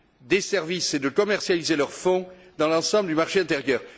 des services et de commercialiser leurs fonds dans l'ensemble du marché intérieur.